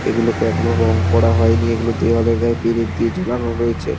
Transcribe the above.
এগুলোকে এখনো রং করা হয় নি এগুলি দেওয়ালের গায়ে পেরেক দিয়ে ছোলানো রয়েছে।